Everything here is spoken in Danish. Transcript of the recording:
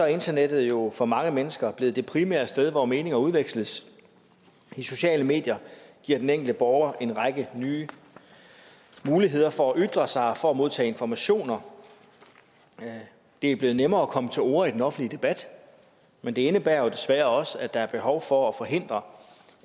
internettet jo for mange mennesker blevet det primære sted hvor meninger udveksles de sociale medier giver den enkelte borger en række nye muligheder for at ytre sig og for at modtage informationer det er blevet nemmere at komme til orde i den offentlige debat men det indebærer jo desværre også at der er behov for at forhindre